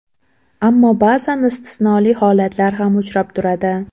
Ammo ba’zan istisnoli holatlar ham uchrab turadi.